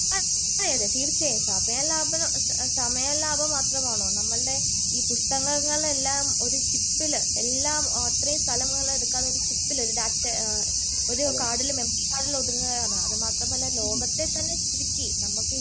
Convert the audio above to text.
അതേ അതേ തീർച്ചയായും സമയ ലാഭം സമയ ലാഭം മാത്രമാണോ? നമ്മളുടെ ഈ പുസ്തകങ്ങൾ എല്ലാം ഒരു ചിപ്പില് എല്ലാം അത്രയും സ്ഥലങ്ങള് എടുക്കാതെ ഒരു ചിപ്പില് ഒരു ഡാറ്റാ ഒരു കർഡില് ഒരു മെമറി കർഡില് ഒതുങ്ങുവാണ്. അത് മാത്രമല്ല ലോകത്തെ തന്നെ ചുരുക്കി